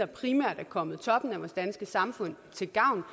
primært er kommet toppen af vores danske samfund til gavn